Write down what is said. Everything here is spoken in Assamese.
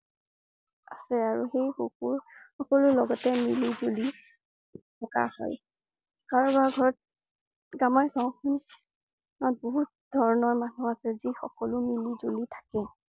আছে আৰু সেই সুখবৰ সকলোৰে লগতে মিলিজুলি থকা হয়। কাৰোবাৰ ঘৰত আমাৰ গাঁওখনত বহুত ধৰণৰ মানুহ আছে যি সকলো মিলিজুলি থাকে।